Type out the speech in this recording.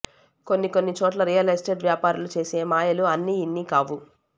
కొన్ని కొన్ని చోట్ల రియల్ ఎస్టేట్ వ్యాపారులు చేసే మాయలు అన్నీ ఇన్ని కావు